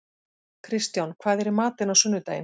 Kristján, hvað er í matinn á sunnudaginn?